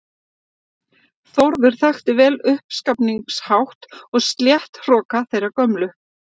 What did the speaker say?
Þórður þekkti vel uppskafningshátt og stéttahroka þeirrar gömlu